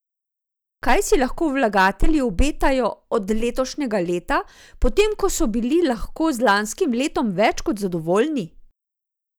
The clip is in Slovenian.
Kaj si lahko vlagatelji obetajo od letošnjega leta, potem ko so bili lahko z lanskim letom več kot zadovoljni?